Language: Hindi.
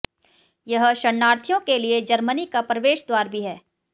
यह शरणार्थियों के लिए जर्मनी का प्रवेश द्वार भी है